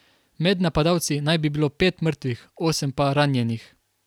Med napadalci naj bi bilo pet mrtvih, osem pa ranjenih.